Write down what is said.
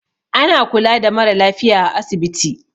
Ana kula da mara lafiya a asibiti.